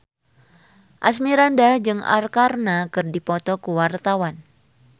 Asmirandah jeung Arkarna keur dipoto ku wartawan